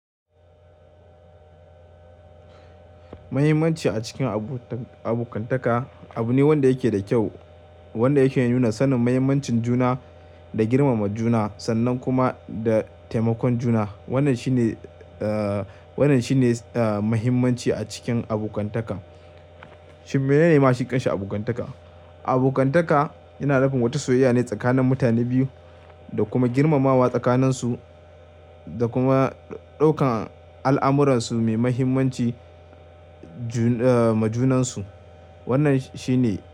Muhimmanci a cikin abu- abokantaka abu ne wanda yake da kyau, wanda yake nuna sanin mahimmancin juna da girmama juna sannan kuma da taimakon juna. Wannan shine, eh, wannan shine, eh, muhimmanci a cikin abokantaka. Shin menene mashin kanshi abokantaka? Abokantaka yana nufin wata soyayya ne tsakanin mutane biyu da kuma girmamawa tsakaninsu, da kuma ɗaukan al'amuransu mai muhimmanci majunansu. Wannan shi ne.